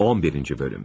11. bölüm.